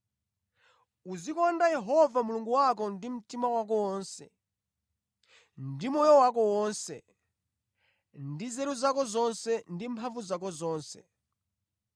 Uzikonda Yehova Mulungu wako ndi mtima wako wonse, ndi moyo wako wonse, ndi nzeru zako zonse ndi mphamvu zako zonse.’